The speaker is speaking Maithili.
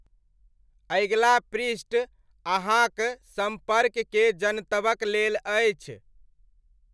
अगिला पृष्ठ अहाँक सम्पर्क केर जनतबक लेल अछि।